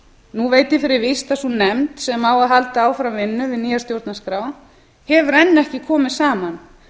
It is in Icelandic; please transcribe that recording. nú veit ég fyrir víst að sú nefnd sem á að halda áfram vinnu við nýja stjórnarskrá hefur enn ekki komið saman